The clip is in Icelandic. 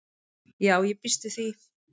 Já ég býst við því.